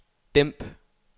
dæmp